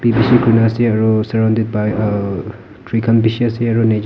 ase aro surrounded by uh tree khan b bishi ase aro nature --